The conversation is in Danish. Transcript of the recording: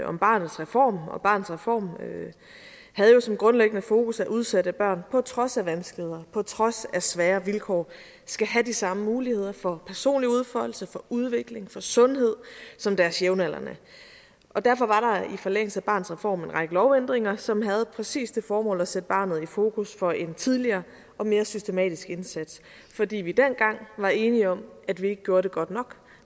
om barnets reform og barnets reform havde jo sit grundlæggende fokus på at udsatte børn på trods af vanskeligheder på trods af svære vilkår skal have de samme muligheder for personlig udfoldelse for udvikling for sundhed som deres jævnaldrende derfor var der i forlængelse af barnets reform en række lovændringer som havde præcis det formål at sætte barnet i fokus for en tidligere og mere systematisk indsats fordi vi dengang var enige om at vi ikke gjorde det godt nok